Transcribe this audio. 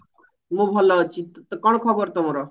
ମୁ ଭଲ ଅଛି ତତେ କଣ ଖବର ତମର